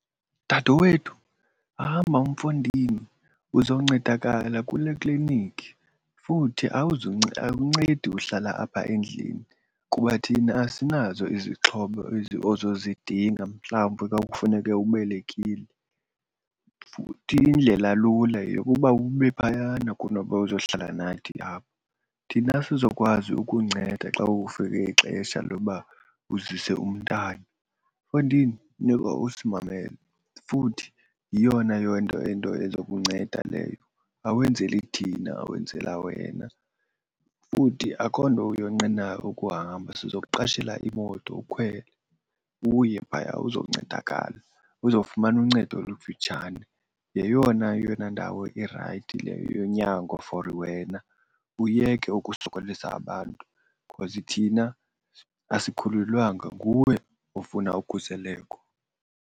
Dadewethu, hamba mfondini uzoncedakala kule klinikhi. Futhi akuncedi uhlala apha endlini kuba thina asinazo izixhobo ezi ozozidinga mhlawumbe ka kufuneke ubelekile. Futhi indlela lula yeyokuba ube phayana kunoba uzohlala nathi apha. Thina asizokwazi ukunceda xa kufike ixesha loba uzise umntana. Mfondini, funeka usimamele futhi yiyona into ezokunceda leyo. Awenzeli thina wenzela wena futhi akho nto uyonqenayo ukuhamba. Sizokuqashela imoto ukhwele uye phaya uzoncedakala, uzofumana uncedo olukufitshane. Yeyona yona ndawo irayithi leyo yonyango for wena uyeke ukusokolisa abantu because thina asikhulelwanga, nguwe ofuna ukhuseleko.